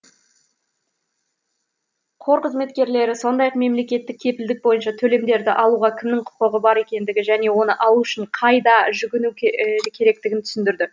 қор қызметкерлері сондай ақ мемлекеттік кепілдік бойынша төлемдерді алуға кімнің құқығы бар екендігі және оны алу үшін қайда жүгіну керектігін түсіндірді